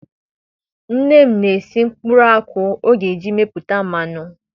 Nne m na-esi nkwụrụ akwụ ọ ga-eji amịpụta mmanụ